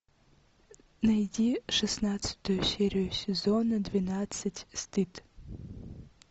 найди шестнадцатую серию сезона двенадцать стыд